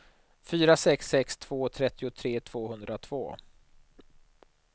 fyra sex sex två trettiotre tvåhundratvå